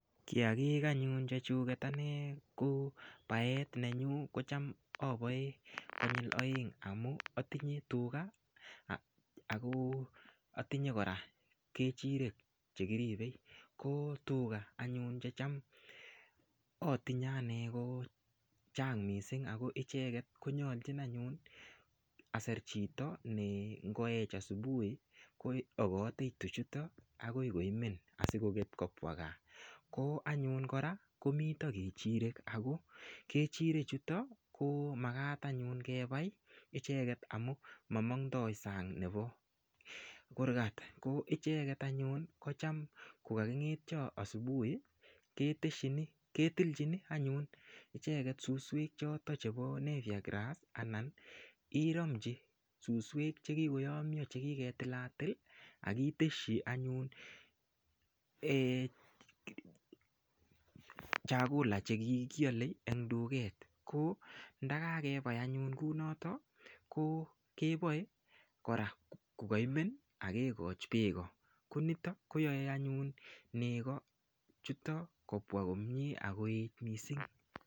Kiyakik anyun chechuket ane ko baet nenyu kocham aboe konyul oeng' amun atinye tuga ako atinye kora kechirek chekiribei ko tuga anyun checham atinye ane kochang' mising ako icheket konyoljin anyun aser chito me ngoech asubuhi koyokotei tuchuta akoi koimen asikoket kobwa kaa ko anyun kora komito kechirek ako kechirechuto ko makat anyun kebai icheget amun mamondoi sang' nebo kurgat ko icheget anyun kocham kokaking'etyo asubuhi ketijini anyun icheget suswek choto chebo nepia grass anan iromchi suswek chekikoyomyo chekiketilatil akiteshi anyun chakula chekikolei eng' tuget ko ndakakebai anyun kunoto ko keboei korakokaimen akekoch beko ko nito koyoei anyun neko chito kobwa komye akoet mising'